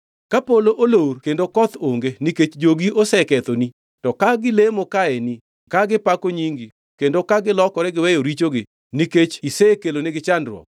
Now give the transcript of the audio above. “Ka polo olor kendo koth onge nikech jogi osekethoni to ka gilemo kaeni ka gipako nyingi kendo ka gilokore giweyo richogi nikech isekelonegi chandruok,